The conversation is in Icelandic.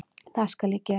Það skal ég gera